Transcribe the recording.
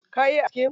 Ka iya aske gemu?